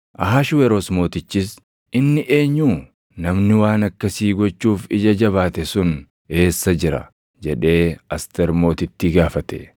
Ahashweroos Mootichis, “Inni eenyuu? Namni waan akkasii gochuuf ija jabaate sun eessa jira?” jedhee Asteer Mootittii gaafate.